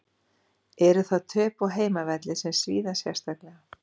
Eru þar töp á heimavelli sem svíða sérstaklega.